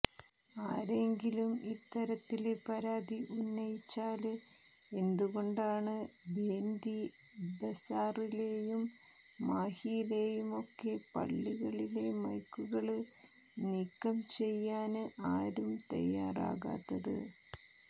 ആരെങ്കിലും ഇത്തരത്തില് പരാതി ഉന്നയിച്ചാല് എന്തുകൊണ്ടാണ് ബേന്ദി ബസാറിലെയും മാഹിമിലെയുമൊക്കെ പള്ളികളിലെ മൈക്കുകള് നിക്കം ചെയ്യാന് ആരും തയ്യാറാകാത്തത്